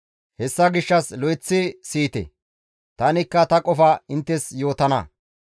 «Hessa gishshas lo7eththi siyite; tanikka ta qofa inttes yootana.